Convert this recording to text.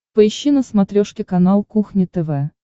поищи на смотрешке канал кухня тв